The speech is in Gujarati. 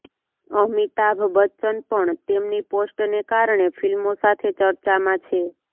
અમિતાભ બચ્ચન પણ તેમની પોસ્ટને કારણે ફિલ્મો સાથે ચર્ચામાં છે